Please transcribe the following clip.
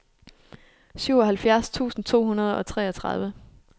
syvoghalvfjerds tusind to hundrede og treogtredive